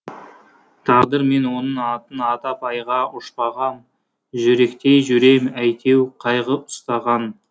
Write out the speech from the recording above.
тағдырмен оның атын атап айға ұшпағам жүректей жүрем әйтеу қайғы ұстаған